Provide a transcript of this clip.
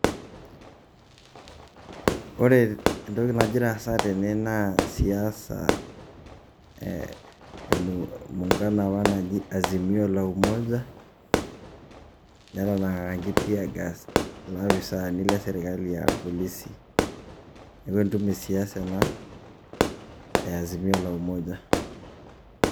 Ore entoki najira aasa tene naaa siasa e muungano apa naji Azimio la umoja, netanang'akaki tear gas ilapisaani le serkali a irpolisi. Neeku entumo e siasa ena e Azimio la Umoja.